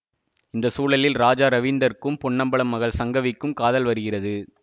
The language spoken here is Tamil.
இந்த சூழலில் ராஜா ரவீந்தர்க்கும் பொன்னம்பலம் மகள் சங்கவிக்கும் காதல் வருகிறது